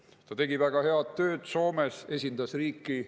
Ta tegi väga head tööd Soomes, esindas riiki.